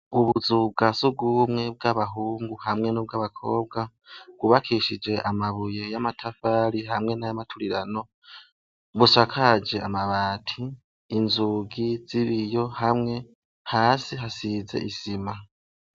Ubuzu bwa surwumwe bw'abahungu hamwe n'ubw'abakobwa bwubakishije amabuye y'amatafari hamwe n'ay'amaturirano, busakaje amabati, inzugi z'ibiyo hamwe, hasi hasize isima.